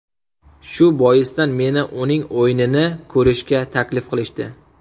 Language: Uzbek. Shu boisdan meni uning o‘yinini ko‘rishga taklif qilishdi.